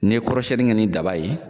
N'i ye kɔrɔsɛni kɛ nin daba ye